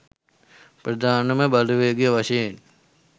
ප්‍රධානම බලවේගය වශයෙන්